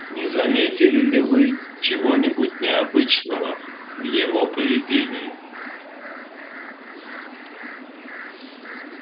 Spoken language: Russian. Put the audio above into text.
не заметили ли вы чего-нибудь необычного в его поведении